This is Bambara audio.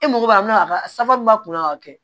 E mago b'a la safu b'a kun na k'a kɛ